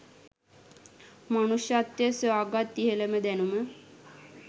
මනුෂ්‍යත්වය සොයාගත් ඉහළම දැනුම